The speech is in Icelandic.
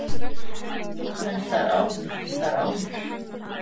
En þar áður og þar áður?